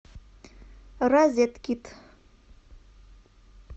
розеткид